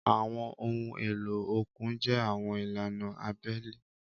Àwọn ohun èlò òkun jẹ́ àwọn ìlànà abẹ́lẹ̀.